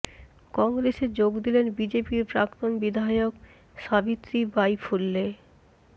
কংগ্রেসে যোগ দিলেন বিজেপির প্রাক্তন বিধায়ক সাবিত্রী বাই ফুল্লে